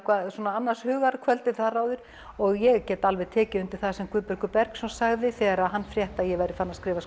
annars hugar kvöldið áður og ég get alveg tekið undir það sem Guðbergur Bergsson sagði þegar hann frétti að ég væri farin að skrifa